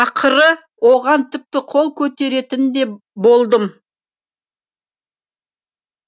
ақыры оған тіпті қол көтеретін де болдым